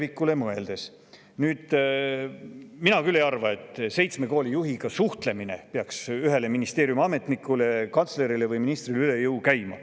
Nüüd, mina küll ei arva, et seitsme koolijuhiga suhtlemine peaks ühele ministeeriumiametnikule, kantslerile või ministrile üle jõu käima.